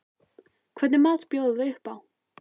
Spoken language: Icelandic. Hvernig mat bjóða þau upp á?